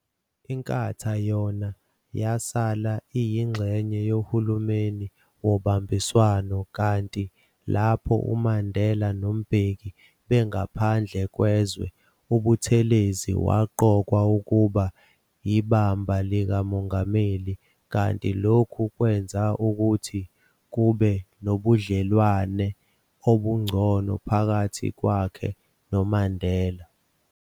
Inkatha yona yasala iyingxenye yohulumeni wobambiswano, kanti lapho uMandela noMbeki bengaphandle kwezwe, uButhelezi waqokwa ukuba yibamba likaMongameli, kanti lokhu kwenza ukuthi kube nobudlelwane obungcono phakathi kwakhe noMandela.